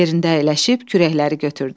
Yerində əyləşib kürəkləri götürdü.